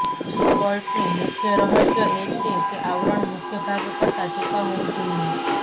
સ્કર્ટનું મુખ્ય રહસ્ય એ છે કે આવરણ મુખ્ય ભાગ કરતા ટૂંકા હોવું જોઈએ